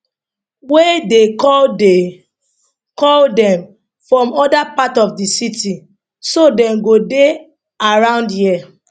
we dey call dey call dem from oda parts of di city so dem go dey around here